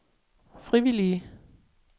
frivillige